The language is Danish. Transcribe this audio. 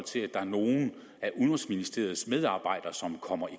til at der er nogle af udenrigsministeriets medarbejdere som kommer i